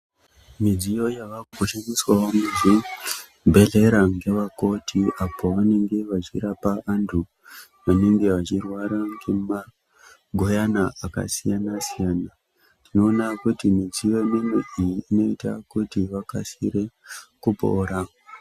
Midziyo yavakushandiswawo muzvibhedhlera ngevakoti apo vanenge vachirapa antu anenge achirwara ngemagoyana akasiyana siyana tinoona kuti midziyo mimwe iyi inoita kuti vakasire kupora.